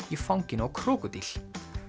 í fanginu á krókódíl